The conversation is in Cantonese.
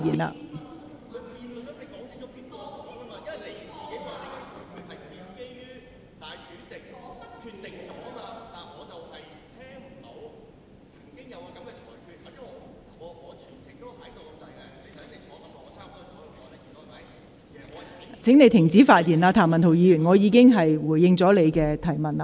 譚文豪議員，請你停止發言，我已回應你的提問。